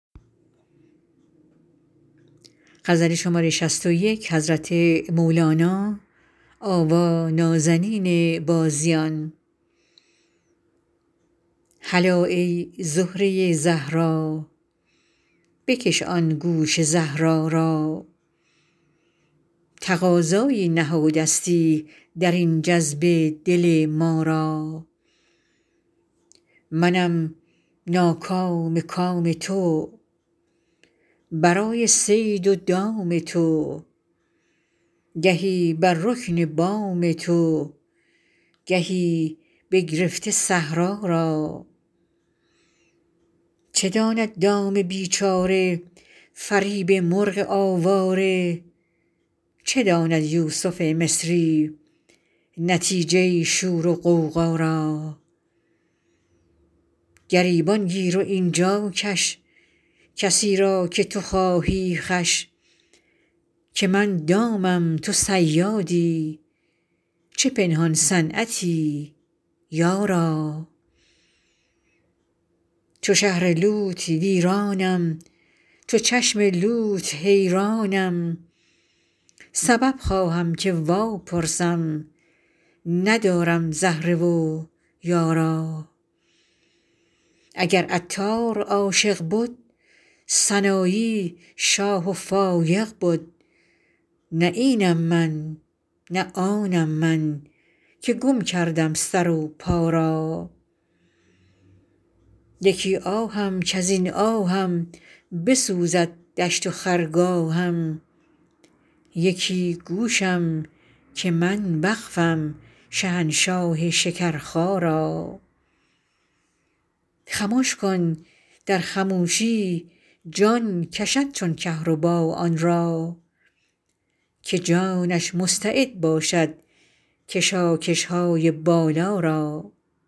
هلا ای زهره زهرا بکش آن گوش زهرا را تقاضایی نهادستی در این جذبه دل ما را منم ناکام کام تو برای صید و دام تو گهی بر رکن بام تو گهی بگرفته صحرا را چه داند دام بیچاره فریب مرغ آواره چه داند یوسف مصری نتیجه شور و غوغا را گریبان گیر و این جا کش کسی را که تو خواهی خوش که من دامم تو صیادی چه پنهان صنعتی یارا چو شهر لوط ویرانم چو چشم لوط حیرانم سبب خواهم که واپرسم ندارم زهره و یارا اگر عطار عاشق بد سنایی شاه و فایق بد نه اینم من نه آنم من که گم کردم سر و پا را یکی آهم کز این آهم بسوزد دشت و خرگاهم یکی گوشم که من وقفم شهنشاه شکرخا را خمش کن در خموشی جان کشد چون کهربا آن را که جانش مستعد باشد کشاکش های بالا را